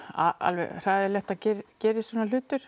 alveg hræðilegt að gerist svona hlutur